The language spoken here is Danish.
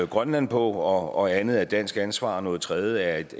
grønland på og andet er dansk ansvar og noget tredje er et